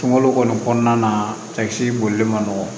Kungolo kɔni kɔnɔna na cɛkisɛ boli man nɔgɔn